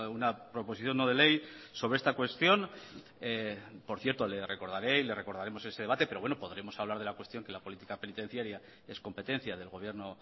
una proposición no de ley sobre esta cuestión por cierto le recordaré y le recordaremos ese debate pero bueno podremos hablar de la cuestión que la política penitenciaria es competencia del gobierno